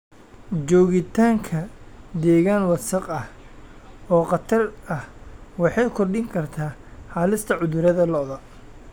Joogitaanka deegaan wasakh ah oo khatar ah waxay kordhin kartaa halista cudurrada lo'da.